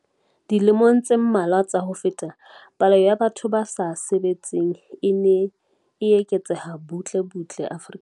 Dilemong tse mmalwa tsa ho feta, palo ya batho ba sa sebetseng e ne e eketseha butle butle Afrika Borwa.